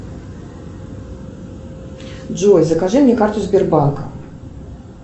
джой закажи мне карту сбербанка